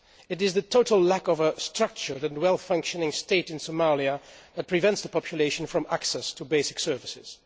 It is the total lack of a structure and a well functioning state in Somalia that prevents the population from having access to basic services.